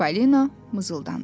Çipolino mızıldandı.